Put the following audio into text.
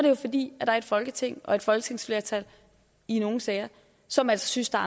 jo fordi der er et folketing og et folketingsflertal i nogle sager som altså synes der